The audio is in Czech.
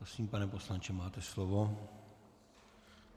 Prosím, pane poslanče, máte slovo.